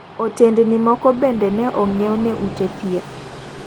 Otendni moko bende ne onyiw ne ute thieth.